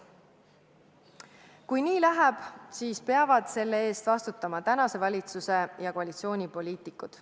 Kui nii läheb, siis peavad selle eest vastutama tänase valitsuse ja koalitsiooni poliitikud.